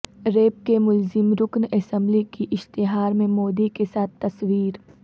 rape کے ملزم رکن اسمبلی کی اشتہار میں مودی کے ساتھ تصویر